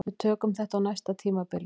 Við tökum þetta á næsta tímabili